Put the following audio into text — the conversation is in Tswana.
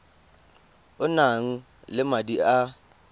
o nang le madi a